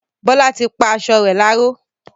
Bọla tí pá aṣọ rẹ láró